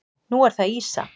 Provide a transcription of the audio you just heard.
Nú er það ýsa.